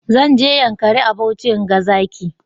Zan je yankari a Bauchi in ga zaki.